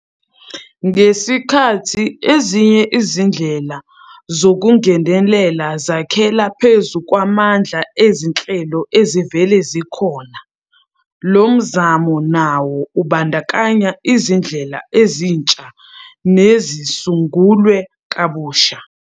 Ngesikhathi ezinye izindlela zokungenelela zakhela phezu kwamandla ezinhlelo ezivele zikhona, lo mzamo nawo ubandakanya izindlela ezintsha nezisungulwe kabusha.